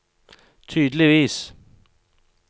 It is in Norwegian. tydeligvis